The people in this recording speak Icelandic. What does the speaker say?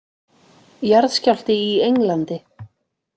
Jarðskjálfti í Englandi